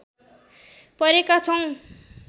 परेका छौँ